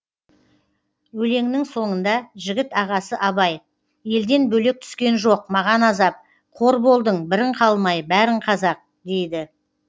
өлеңнің соңында жігіт ағасы абай елден бөлек түскен жоқ маған азап қор болдың бірің қалмай бәрің қазақ дейді